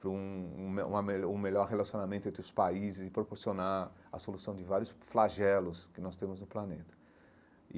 para um um me uma melhor um melhor relacionamento entre os países e proporcionar a solução de vários flagelos que nós temos no planeta e.